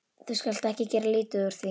Þú skalt ekki gera lítið úr því.